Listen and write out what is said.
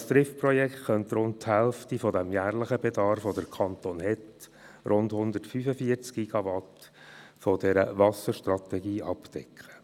Das «Trift»-Projekt könnte rund die Hälfte des jährlichen Bedarfs des Kantons Bern – 145 GWh – zur Wasserstrategie abdecken.